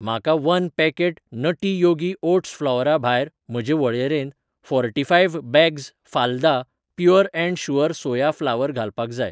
म्हाका one packet nutty yogi oats फ्लावरा भायर म्हजे वळेरेंत, फोर्टीफायव्ह बॅग्स फालदा pure and sure soya flour घालपाक जाय.